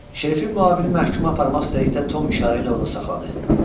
Şerifin müavini məhkumu aparmaq istədikdə Tom işarə ilə onu saxladı.